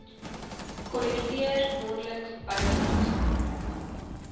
kollekteer maandeliks bydraes